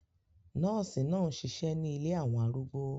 Nọ́ọ̀sì náà ń ṣiṣẹ́ ní ilé àwọn arúgbó